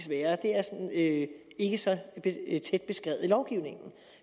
være det er ikke ikke så tæt beskrevet i lovgivningen